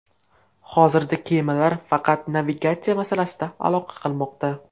Hozir kemalar faqat navigatsiya masalasida aloqa qilmoqda.